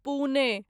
Pune